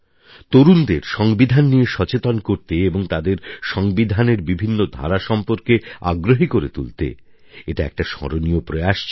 তরুণদের সংবিধান নিয়ে সচেতন করতে এবং তাদের সংবিধানের বিভিন্ন ধারা সম্পর্কে আগ্রহী করে তুলতে এটা একটা স্মরণীয় প্রয়াস ছিল